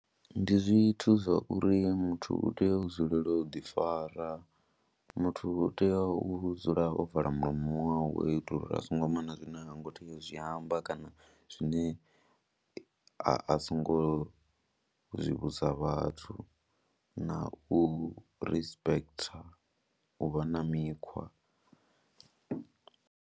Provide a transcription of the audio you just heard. Ndi zwithu zwa uri muthu u tea u dzulela u ḓifara, muthu u tea u dzula o vala mulomo wawe hu itela uri a songo amba na zwine ha ngo tea u zwi amba kana zwine a songo zwi vhudza vhathu na u respect, u vha na mikhwa.